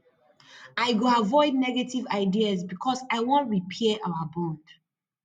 i go avoid negative ideas because i wan repair our bond